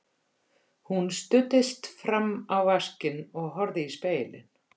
Hún studdist fram á vaskinn og horfði í spegilinn.